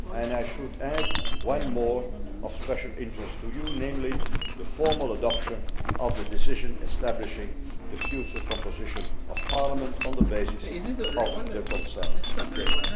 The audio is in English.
I should add one more of special interest to Parliament namely the formal adoption of the decision establishing the future composition of Parliament, on the basis of the consent it had given.